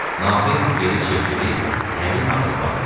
Nahid geri çevrilib həmin adama baxdı.